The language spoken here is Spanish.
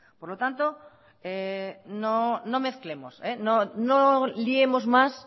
por lo tanto no mezclemos no liemos más